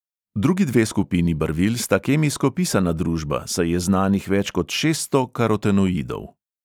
Drugi dve skupini barvil sta kemijsko pisana družba, saj je znanih več kot šeststo karotenoidov.